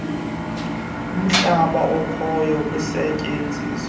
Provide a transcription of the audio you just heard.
umhlaba okhoyo usetyenziswa